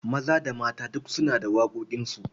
Maza da mata duk suna da waƙoƙinsu.